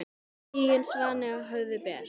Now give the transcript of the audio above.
Tigin svanni á höfði ber.